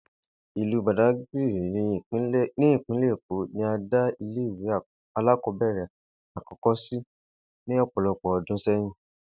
Ìlú Bàdágìrì ní ìpínlè̩ Èkó ni a dá ilé ìwé alákò̩ó̩bè̩rè̩ àkó̩kó̩ sí ní ò̩po̩̩lo̩pò̩ o̩dún sé̩yìn